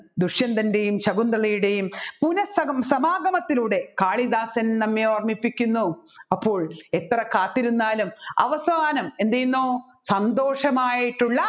ദുഷ്യന്തൻറെയും ശകുന്തളയുടെയും പുനഃസഗം സംഗമത്തിലൂടെ കാളിദാസൻ നമ്മെ ഓർമിപ്പിക്കുന്നു അപ്പോൾ എത്ര കാത്തിരുന്നാലും അവസാനം എന്ത് ചെയ്യുന്നു സന്തോഷമായിട്ടുള്ള